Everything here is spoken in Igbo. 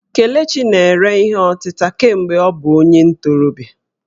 Kelechi na-ere ihe ọtịta kemgbe ọ bụ onye ntorobịa